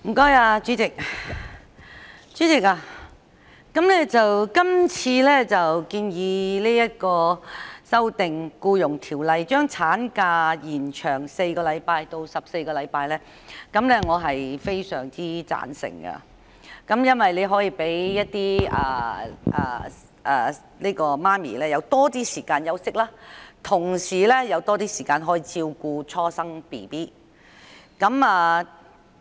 代理主席，對於今次建議修訂《僱傭條例》，把產假延長4周至共14周，我個人相當贊成，因這能讓母親有更多時間休息，也有更多時間照顧初生嬰兒。